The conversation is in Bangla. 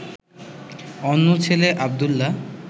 অন্য ছেলে আব্দুল্লাহ